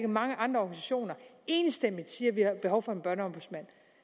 mange andre organisationer enstemmigt siger at vi har behov for en børneombudsmand